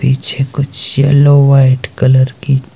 पीछे कुछ yellow white colour की--